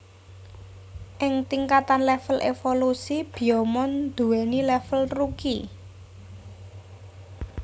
Ing tingkatan level evolusi Biyomon duweni level Rookie